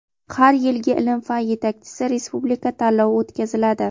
har yilgi "Ilm-fan yetakchisi" respublika tanlovi o‘tkaziladi.